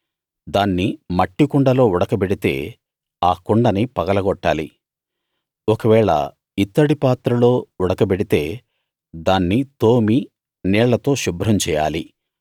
దాన్ని మట్టి కుండలో ఉడకబెడితే ఆ కుండని పగలగొట్టాలి ఒకవేళ ఇత్తడి పాత్రలో ఉడకబెడితే దాన్ని తోమి నీళ్ళతో శుభ్రం చేయాలి